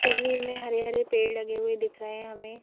तस्वीर में हरे-हरे पेड़ लगे हुए दिख रहे हैं हमें--